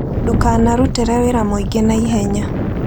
Ndũkanarutire wĩra mũingĩ na ihenya.